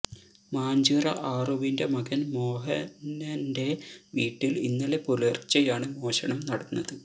മാഞ്ചിറ ആറുവിന്റെ മകന് മോഹനന്റെ വീട്ടില് ഇന്നലെ പുലര്ച്ചെയാണ് മോഷണം നടന്നത്